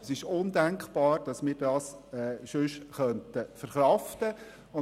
Es ist undenkbar, dass wir das sonst verkraften könnten.